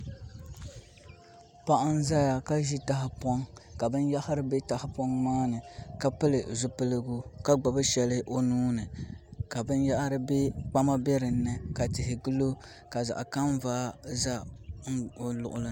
Paɣa n ʒɛya ka ʒi tahapoŋ ka binyahari bɛ tahapoŋ maa ni ka pili zipiligu ka gbubi shɛli o nuuni ka binyahari bɛ kpama bɛ dinni ka tihi piɛ n gilo ka zaɣ kanvaa bɛ o luɣuli ni